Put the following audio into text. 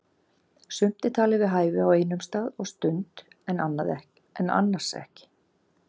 Sumt er talið við hæfi á einum stað og stund en annars ekki.